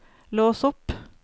lås opp